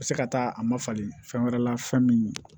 U bɛ se ka taa a ma falen fɛn wɛrɛ la fɛn min ye